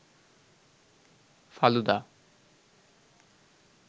falooda